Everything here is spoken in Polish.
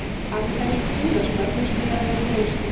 Ale ta niespójność ma również wymiar wewnętrzny.